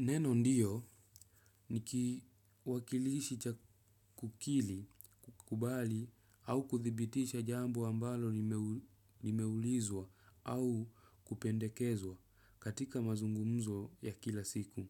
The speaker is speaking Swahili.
Neno 'ndiyo' ni kiwakilishi cha kukili, kukubali au kuthibitisha jambo ambalo limeulizwa au kupendekezwa katika mazungumzo ya kila siku.